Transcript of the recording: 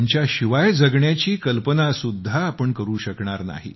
त्यांच्याशिवाय जगण्याची कल्पनासुद्धा आपण करू शकणार नाही